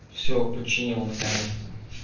все починил наконец-то